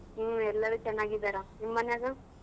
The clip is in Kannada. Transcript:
ಹ್ಮ್ ಎಲ್ಲರೂ ಚೆನ್ನಾಗಿದ್ದಾರ ನಿಮ್ಮನ್ಯಾಗ ?